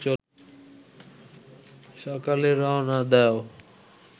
সকালে রওনা দেও